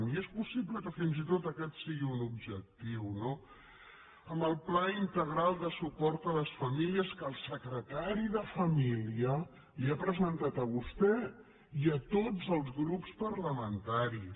i és possible que fins i tot aquest sigui un objectiu no amb el pla integral de suport a les famílies que el secretari de família li ha presentat a vostè i a tots els grups parlamentaris